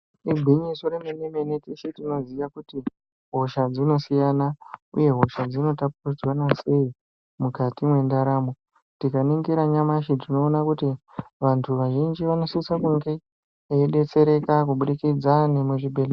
Igwinyiso remene-mene teshe tinoziya kuti hosha dzinosiyana, uye hosha dzinotapuridzwana sei mukati mwendaramo. Tikaningira nyamashi tinoona kuti vantu vazhinji vanosisa kunge veibetsereka kubudikidza nemuzvibhedhleya.